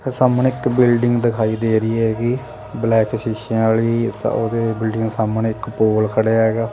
ਸਾਹਮਣੇ ਇੱਕ ਬਿਲਡਿੰਗ ਦਿਖਾਈ ਦੇ ਰਹੀ ਹੈਗੀ ਬਲੈਕ ਸ਼ੀਸ਼ਿਆਂ ਵਾਲੀ ਉਹਦੇ ਬਿਲਡਿੰਗ ਸਾਹਮਣੇ ਇੱਕ ਪੋਲ ਖੜੇ ਹੈਗਾ।